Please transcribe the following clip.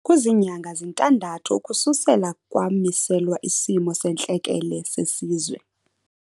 Kuzinyanga zintandathu ukususela kwamiselwa isimo sentlekele sesizwe.